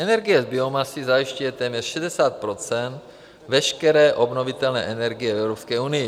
Energie z biomasy zajišťuje téměř 60 % veškeré obnovitelné energie v Evropské unii.